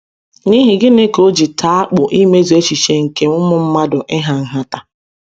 N’ihi gịnị ka o ji taa akpụ imezu echiche nke ụmụ mmadụ ịha nhata?